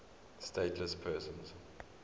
stateless persons